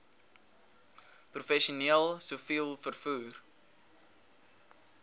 professioneel siviel vervoer